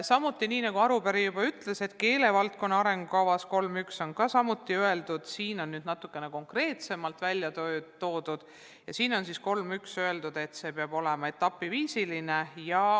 Samuti, nagu arupärija juba ütles, on keelevaldkonna arengukava punktis 3.1 öeldud – see on nüüd natuke konkreetsemalt välja toodud –, et see peab olema etapiviisiline.